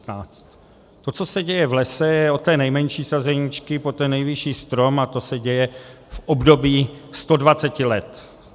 To, co se děje v lese, je od té nejmenší sazeničky po ten největší strom a to se děje v období 120 let.